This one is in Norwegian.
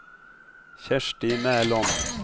Kjersti Mæland